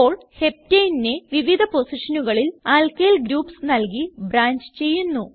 ഇപ്പോൾ Heptaneനെ വിവിധ പൊസിഷനുകളിൽ ആൽക്കിൽ ഗ്രൂപ്സ് നൽകി ബ്രാഞ്ച് ചെയ്യുന്നു